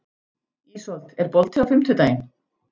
Ísold, er bolti á fimmtudaginn?